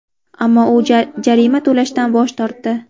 Ammo u jarima to‘lashdan bosh tortdi.